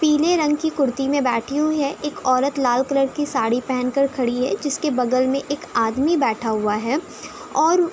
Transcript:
पीले रंग की कुर्ती में बैठी हुई है। एक औरत लाल कलर की साड़ी पहन कर खड़ी है। जिसके बगल में एक आदमी बैठा हुआ है और --